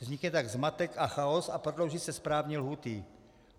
Vznikne tak zmatek a chaos a prodlouží se správní lhůty.